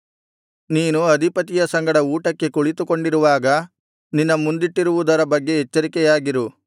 ನೀನು ಅಧಿಪತಿಯ ಸಂಗಡ ಊಟಕ್ಕೆ ಕುಳಿತುಕೊಂಡಿರುವಾಗ ನಿನ್ನ ಮುಂದಿಟ್ಟಿರುವುದರ ಬಗ್ಗೆ ಎಚ್ಚರಿಕೆಯಾಗಿರು